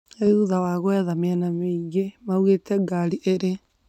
Nĩ thutha wa kwetha mĩena nyingĩ maugte ngari irĩ